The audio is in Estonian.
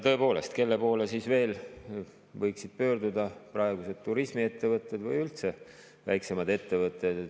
Tõepoolest, kelle poole siis veel võiksid pöörduda praegused turismiettevõtted või üldse väiksemad ettevõtted?